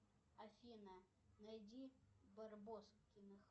афина найди барбоскиных